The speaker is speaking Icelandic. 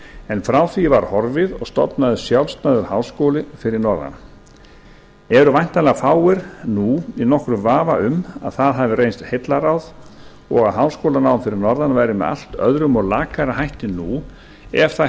en frá því var horfið og stofnaður sjálfstæður háskóli fyrir norðan eru væntanlega fáir nú í nokkrum vafa um að það hafi reynst heillaráð og háskólanám fyrir norðan væri með allt öðrum og lakara hætti nú ef það